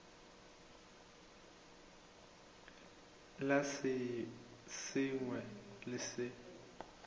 la se sengwe le se